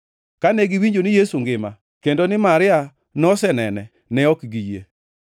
Kane giwinjo ni Yesu ngima, kendo ni Maria nosenene ne ok giyie.